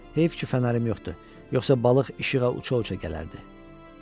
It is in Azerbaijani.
Heyf ki, fənərim yoxdur, yoxsa balıq işığa uçuşa-uçuşa gələrdi.